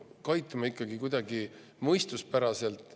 Käitume kuidagi mõistuspärasemalt.